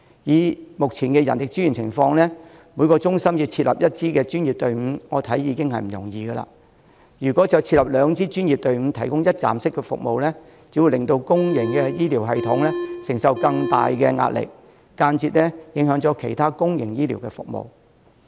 以目前的人力資源情況，每個中心要設立一支專業隊伍，我認為已經不容易，如果要設立兩支專業隊伍提供一站式服務，只會令公營醫療系統承受更大的壓力，間接影響其他公營醫療服務。